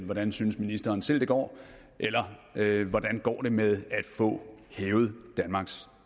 hvordan synes ministeren selv det går eller hvordan går det med at få hævet danmarks